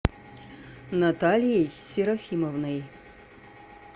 натальей серафимовной